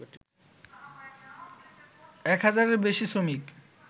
এক হাজারের বেশি শ্রমিক